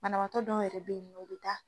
Banabaatɔ dɔw yɛrɛ be yen nɔn o bi taa